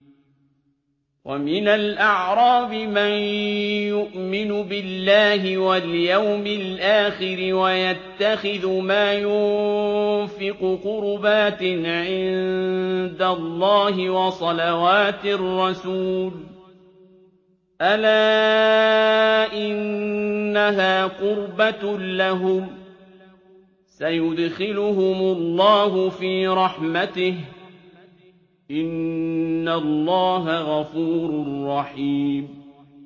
وَمِنَ الْأَعْرَابِ مَن يُؤْمِنُ بِاللَّهِ وَالْيَوْمِ الْآخِرِ وَيَتَّخِذُ مَا يُنفِقُ قُرُبَاتٍ عِندَ اللَّهِ وَصَلَوَاتِ الرَّسُولِ ۚ أَلَا إِنَّهَا قُرْبَةٌ لَّهُمْ ۚ سَيُدْخِلُهُمُ اللَّهُ فِي رَحْمَتِهِ ۗ إِنَّ اللَّهَ غَفُورٌ رَّحِيمٌ